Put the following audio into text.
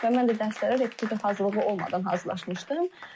Və mən də dərslərə repetitor hazırlığı olmadan hazırlaşmışdım.